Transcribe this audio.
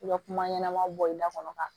I bɛ kuma ɲɛnɛma bɔ i da kɔnɔ ka